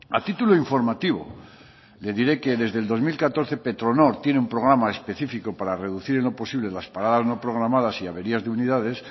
a título informativo le diré que desde el dos mil catorce petronor tiene un programa específico para reducir en lo posible las paradas no programadas y averías de unidades